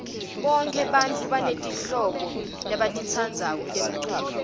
bonke bantfu banetimhlobo labatitsandzako temculo